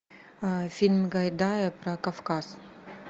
фильм гайдая про кавказ